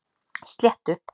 Sléttu